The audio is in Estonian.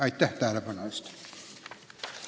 Aitäh tähelepanu eest!